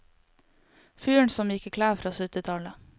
Fyren som gikk i klær fra syttitallet.